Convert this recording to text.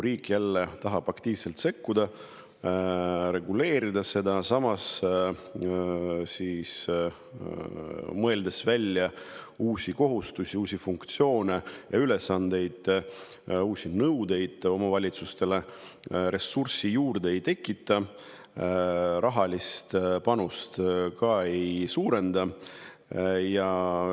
Riik tahab jälle aktiivselt sekkuda, seda reguleerida, mõeldes välja uusi kohustusi, uusi funktsioone ja ülesandeid, uusi nõudeid omavalitsustele, ressursse juurde ei tekita, rahalist panust ei suurenda.